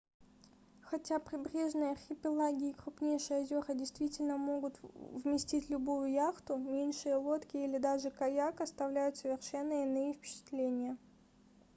хотя прибрежные архипелаги и крупнейшие озера действительно могут вместить любую яхту меньшие лодки или даже каяк оставляют совершенно иные впечатления